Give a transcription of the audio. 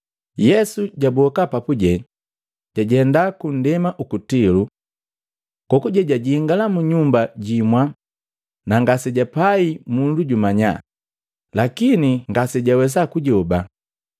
Yesu jaboka papuje, jajenda kundema uku Tilo. Kokuje jajingala mu nyumba jimwa na ngasejapai mundu jumanya, lakini ngasejawesa kujoba.